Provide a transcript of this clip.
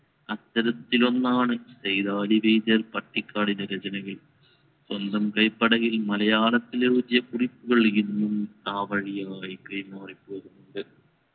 അത്തരത്തിൽ ഒന്നാണ് സൈദാലി വൈദ്യർ പട്ടിക്കാടിൻറെ രചനകൾ സ്വന്തം കൈപ്പടയിൽ മലയത്തിൽ എഴുതിയ കുറിപ്പുകൾ ഇന്നും ആ വഴിയായി കൈമാറിപോകുന്നുണ്ട്